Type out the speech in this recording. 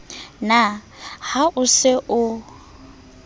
na ha o se o